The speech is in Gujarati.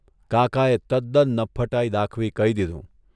કાકાએ તદન નફ્ફટાઇ દાખવી કહી દીધું.